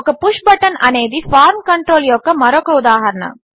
ఒక push button అనేది form control యొక్క మరొక ఉదాహరణ